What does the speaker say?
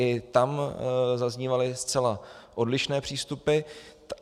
I tam zaznívaly zcela odlišné přístupy.